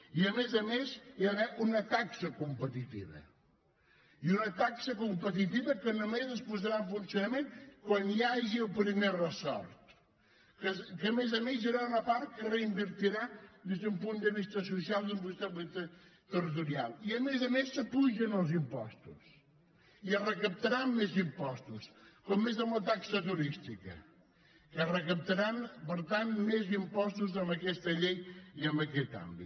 i a més a més hi ha d’haver una taxa competitiva i una taxa competitiva que només es posarà en funcionament quan hi hagi el primer resort que a més a més hi haurà una part que es reinvertirà des d’un punt de vista social i un punt de vista territorial i a més a més s’apugen els impostos i es recaptaran més impostos com és amb la taxa turística que es recaptaran per tant més impostos amb aquesta llei i en aquest àmbit